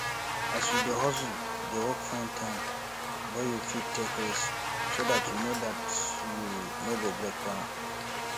as you dey hustle dey work find time wey you fit take rest so dat you no dat you no go break down